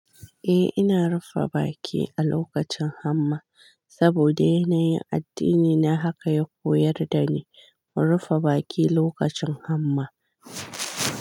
Eh ina rufe baki a lokacin hamma saboda yanayin addini na haka ya koyar da ni, mu rufe baki lokacin hamma.